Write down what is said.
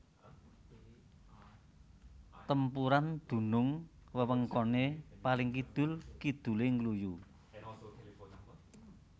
Tempuran dunung wewengkone paling kidul kidule Ngluyu